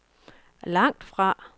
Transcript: langtfra